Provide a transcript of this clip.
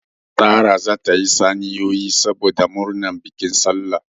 Sara zata sayi saniyoyi saboda murnar bikin sallah